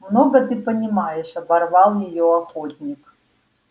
много ты понимаешь оборвал её охотник